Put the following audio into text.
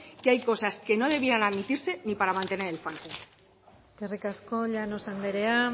que hay cosas que no debían admitirse ni para mantener el falcon eskerrik asko llanos anderea